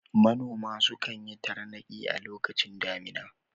Manoma sukan yi tarnaki a lokacin damina.